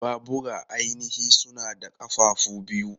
Babura ainihi suna da ƙafafu biyu.